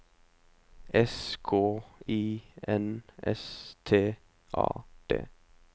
S K I N S T A D